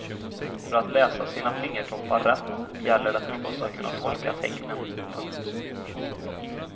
För att läsa sina fingertoppar rätt gäller det förstås att kunna tolka tecknen. punkt